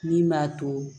Min b'a to